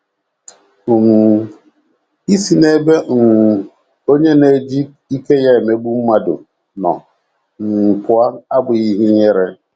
um Isi n’ebe um onye na - eji ike ya emegbu mmadụ nọ um pụọ abụghị ihe ihere